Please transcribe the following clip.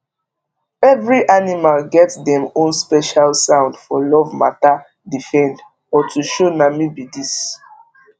every animal get dem own special sound for love matter defend or to show na me be dis